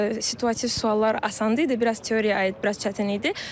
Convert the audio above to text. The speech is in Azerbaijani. Situativ suallar asan idi, biraz teoriyaya aid biraz çətin idi.